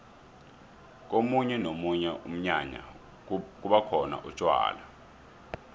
komunye nomunye umnyanya kubakhona utjwala